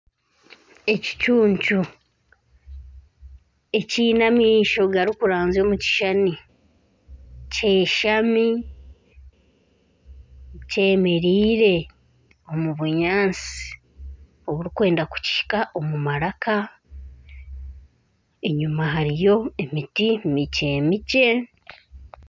Ekicuncu ekiine amaisho garikuranzya omu kishushani kyeshami kyemeriire omu bunyaatsi oburikwenda kukihika omu maraka, enyima hariyo emiti mikye mikye